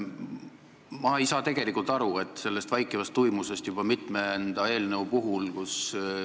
Ma ei saa tegelikult aru sellest vaikivast tuimusest juba mitmenda eelnõu puhul.